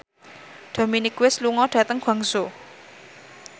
Dominic West lunga dhateng Guangzhou